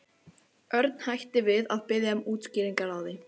Örn hætti við að biðja um útskýringar á því.